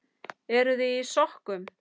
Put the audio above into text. Eruði í sokkum?